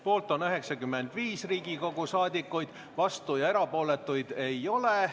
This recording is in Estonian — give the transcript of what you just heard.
Poolt on 95 Riigikogu liiget, vastuolijaid ja erapooletuid ei ole.